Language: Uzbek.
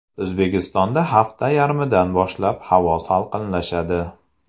O‘zbekistonda hafta yarmidan boshlab havo salqinlashadi.